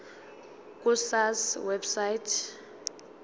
ku sars website